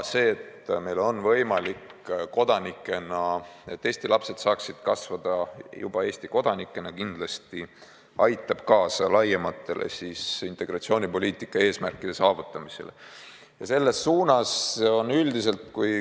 See, et kõik Eesti lapsed saavad siin kasvada Eesti kodanikena, kindlasti aitab kaasa laiemate integratsioonipoliitika eesmärkide saavutamisele.